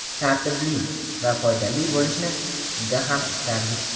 tartibli va foydali bo‘lishini juda ham istardik.